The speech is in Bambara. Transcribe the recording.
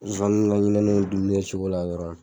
Zonzanni duguni kɛcogola dɔrɔn